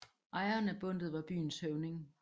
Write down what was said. Ejeren af bundtet var byens høvding